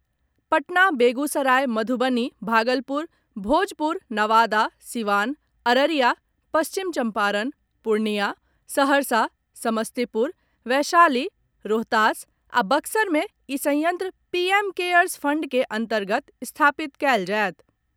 पटना, बेगूसराय मधुबनी, भागलपुर, भोजपुर, नवादा, सीवान, अररिया, पश्चिम चम्पारण, पूर्णियां, सहरसा, समस्तीपुर, वैशाली, रोहतास आ बक्सर मे ई संयंत्र पीएम केयर्स फंड के अन्तर्गत स्थापित कयल जायत।